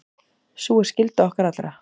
Sú er skylda okkar allra.